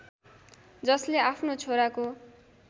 जसले आफ्नो छोराको